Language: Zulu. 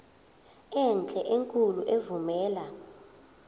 enhle enkulu evumela